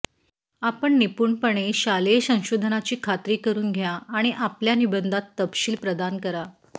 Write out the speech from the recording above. आपण निपुणपणे शालेय संशोधनाची खात्री करून घ्या आणि आपल्या निबंधात तपशील प्रदान करा